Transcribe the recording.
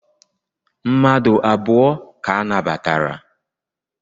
Mmadu abụọ ka anabatara.